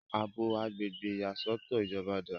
àbò agbègbè ìyàsọ́tọ̀ ìjọba dáa